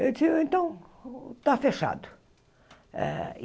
Eu então, está fechado. Eh e